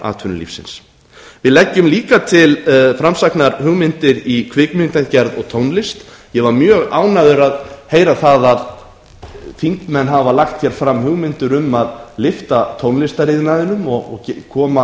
atvinnulífsins við leggjum líka til framsæknar hugmyndir í kvikmyndagerð og tónlist ég var mjög ánægður að heyra það að þingmenn hafa lagt fram hugmyndir um að lyfta tónlistariðnaðinum og koma